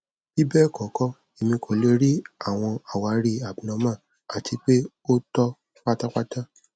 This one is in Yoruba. bibẹkọkọ emi ko le ri awọn awari abnormal ati pe o tọ patapata